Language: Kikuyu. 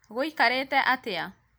gũikarĩte atĩa?